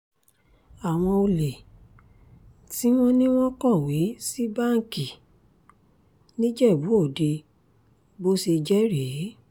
àwọn olè tí wọ́n ní wọ́n kọ̀wé sí báńkì nìjẹ́bú-òde bó ṣe jẹ́ rèé